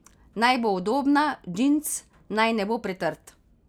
Naj bo udobna, džins naj ne bo pretrd.